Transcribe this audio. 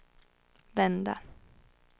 vända